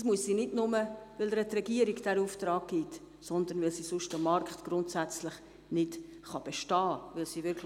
Das muss sie nicht nur, weil die Regierung ihr diesen Auftrag gibt, sondern weil sie sonst am Markt grundsätzlich nicht bestehen kann.